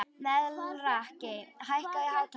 Melrakki, hækkaðu í hátalaranum.